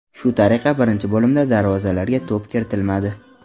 Shu tariqa birinchi bo‘limda darvozalarga to‘p kiritilmadi.